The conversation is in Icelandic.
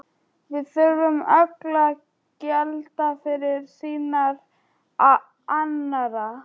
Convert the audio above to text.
Við þurfum öll að gjalda fyrir syndir annarra.